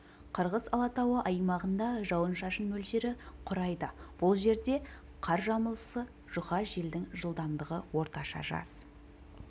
қырғыз алатауы аймағында жауын-шашын мөлшері құрайды бұл жерде қар жамылғысы жұқа желдің жылдамдығы орташа жаз